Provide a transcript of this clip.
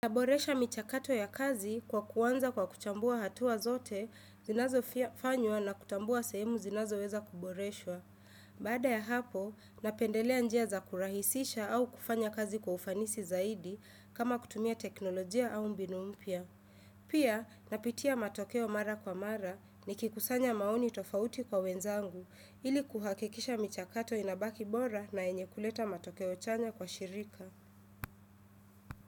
Naboresha michakato ya kazi kwa kuanza kwa kuchambua hatua zote zinazofanywa na kutambua sehemu zinazoweza kuboreshwa. Baada ya hapo, napendelea njia za kurahisisha au kufanya kazi kwa ufanisi zaidi kama kutumia teknolojia au mbinu mpya. Pia, napitia matokeo mara kwa mara nikikusanya maoni tofauti kwa wenzangu ili kuhakikisha michakato inabaki bora na yenye kuleta matokeo chanya kwa shirika.